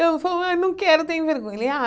Eu falou, ai não quero, tenho vergonha. Ele ah